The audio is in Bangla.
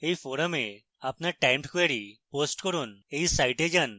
এই ফোরামে আপনার টাইমড ক্যোয়ারী পোস্ট করুন এই সাইটে যান